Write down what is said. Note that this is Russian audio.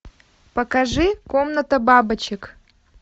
покажи комната бабочек